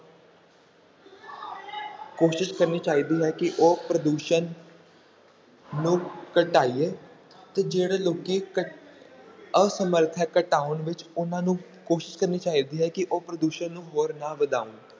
ਕੋਸ਼ਿਸ਼ ਕਰਨੀ ਚਾਹੀਦੀ ਹੈ ਕਿ ਉਹ ਪ੍ਰਦੂਸ਼ਣ ਨੂੰ ਘਟਾਈਏ ਤੇ ਜਿਹੜੇ ਲੋਕੀ ਘ~ ਅਸਮਰਥ ਹੈ ਘਟਾਉਣ ਵਿੱਚ ਉਹਨਾਂ ਨੂੰ ਕੋਸ਼ਿਸ਼ ਕਰਨੀ ਚਾਹੀਦੀ ਹੈ ਕਿ ਉਹ ਪ੍ਰਦੂਸ਼ਣ ਨੂੰ ਹੋਰ ਨਾ ਵਧਾਉਣ।